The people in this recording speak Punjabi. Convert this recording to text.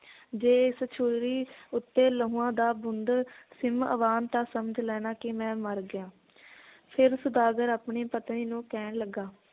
ਜੇ ਇਸ ਛੁਰੀ ਉੱਤੇ ਲਹੂਆਂ ਦਾ ਬੂੰਦ ਸਿਮ ਆਵਣ ਤਾਂ ਸਮਝ ਲੈਣਾ ਕਿ ਮੈ ਮਰ ਗਿਆ ਫੇਰ ਸੌਦਾਗਰ ਆਪਣੀ ਪਤਨੀ ਨੂੰ ਕਹਿਣ ਲੱਗਾ